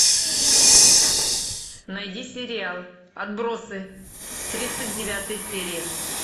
найди сериал отбросы тридцать девятая серия